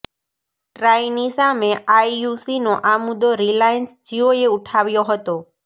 ટ્રાઇની સામે આઇયૂસીનો આ મુદ્દો રિલાયન્સ જીયોએ ઉઠાવ્યો હતો